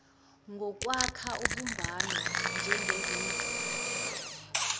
ngokwakha ubumbano njengezimbizo